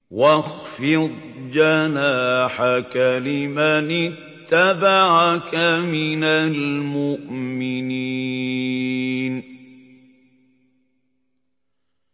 وَاخْفِضْ جَنَاحَكَ لِمَنِ اتَّبَعَكَ مِنَ الْمُؤْمِنِينَ